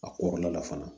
A kɔrɔla la fana